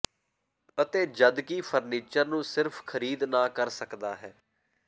ਅਤੇ ਜਦਕਿ ਫਰਨੀਚਰ ਨੂੰ ਸਿਰਫ਼ ਖ਼ਰੀਦ ਨਾ ਕਰ ਸਕਦਾ ਹੈ